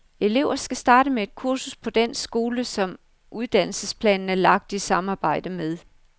Elever skal starte med et kursus på den skole, som uddannelsesplanen er lagt i samarbejde med.